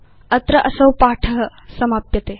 अत्र असौ पाठ समाप्यते